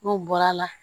N'u bɔra la